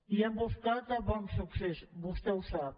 i hem buscat a bonsuccés vostè ho sap